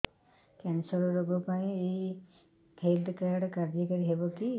cancer ରୋଗ ପାଇଁ ଏଇ ହେଲ୍ଥ କାର୍ଡ କାର୍ଯ୍ୟକାରି ହେବ କି